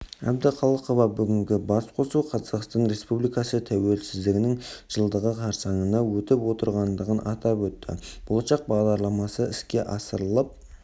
әбдіқалықова бүгінгі басқосу қазақстан республикасы тәуелсіздігінің жылдығы қарсаңында өтіп отырғандығын атап өтті болашақ бағдарламасы іске асырылып